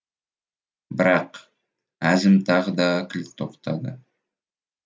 бірақ әзім тағы да кілт тоқтады